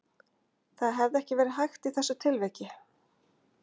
Það hefði ekki verið hægt í þessu tilviki?